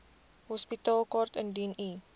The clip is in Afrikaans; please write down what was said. hospitaalkaart indien u